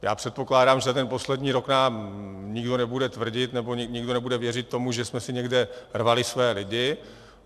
Já předpokládám, že ten poslední rok nám nikdo nebude tvrdit nebo nikdo nebude věřit tomu, že jsme si někde rvali své lidi.